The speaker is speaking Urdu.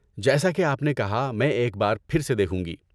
جیسا کہ آپ نے کہا میں ایک بار پھر سے دیکھوں گی۔